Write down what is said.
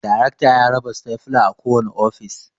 Darekta ya raba stafula a kowane ofis